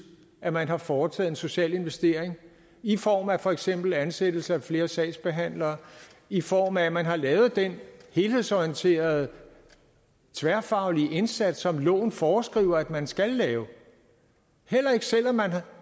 at man har foretaget en social investering i form af for eksempel ansættelse af flere sagsbehandlere i form af at man har lavet den helhedsorienterede tværfaglige indsats som loven foreskriver at man skal lave heller ikke selv om man